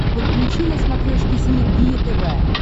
подключи на смотрешке синергия тв